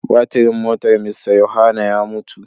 Batirin motar Mr Yohanna ya mutu.